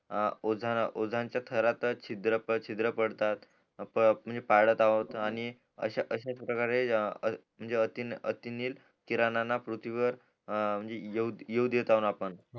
आणि ओझान च्या थरात शिद्र पडतात म्हणजे पाडत आहोत आणि अश्याच प्रकारे अतिनील किरणांना पृथ्वीवर यरु देत अहो